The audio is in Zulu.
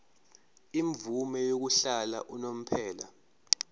imvume yokuhlala unomphela